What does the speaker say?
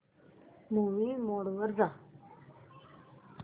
movie mode वर जा